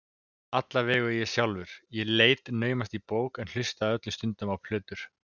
Alla vega ég sjálfur, ég leit naumast í bók en hlustaði öllum stundum á plötur.